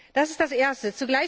Das ist das Erste.